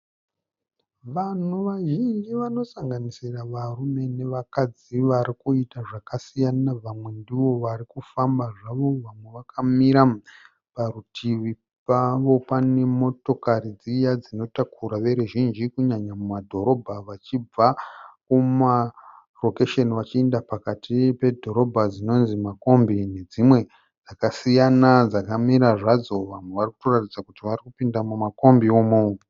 Vanhu vazhinji vanosanganisira varume nevakadzi varikuita zvakasiyana vamwe ndivo vari kufamba zvavo vamwe vakamira. Parutivi pavo pane motokari dziya dzinotakura veruzhinji kunyanya mumadhorobha vachibva kumarokesheni vachienda pakati pedhorobha dzinonzi makombi nedzimwe dzakasiyana dzakamira zvadzo. Vamwe vari kunoratidza kuti vari kupinda mumakombi umu.